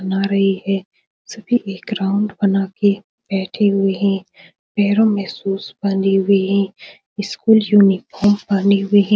बना रही है सभी एक राउंड बना के बैठे हुए हैं पैरों में शूज पहने हुए हैं स्कूल यूनिफार्म पहने हुए हैं।